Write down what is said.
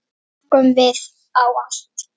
Þá lokuðum við á allt.